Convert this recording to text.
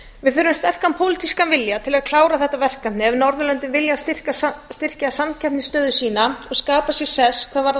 við þurfum sterkan pólitískan vilja til að klára þetta verkefni ef norðurlöndin vilja styrkja samkeppnisstöðu sína og skapa sér sess hvað varðar